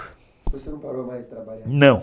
Você não parou mais de trabalhar? Não.